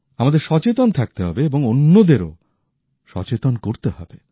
আমাদের সচেতন থাকতে হবে এবং অন্যদেরও সচেতন করতে হবে